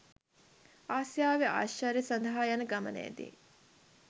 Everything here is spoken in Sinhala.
ආසියාවේ ආශ්චර්ය සඳහා යන ගමනේදී